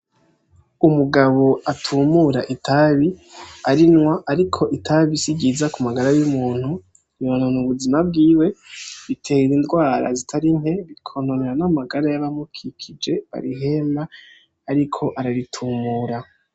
Umugabo atumura itabi arinwa ariko itabi si ryiza ku magara y'umuntu , umuntu mubuzima bwiwe ritera indwara zitari nke rikonona n'amagara yabamukikije barihema ariko araritumura.